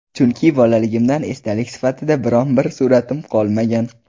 Chunki bolaligimdan esdalik sifatida biron bir sur’atim qolmagan.